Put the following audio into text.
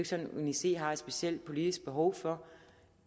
sådan at uni c har et specielt politisk behov for